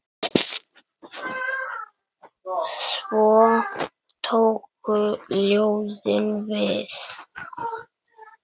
Svo tóku ljóðin við.